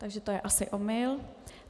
Takže to je asi omyl.